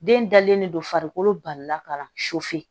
Den dalen don farikolo balila ka na